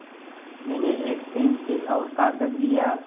मैंने एक पेन्सिल और कागज़ लिया